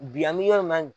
Bi an bɛ yɔrɔ min na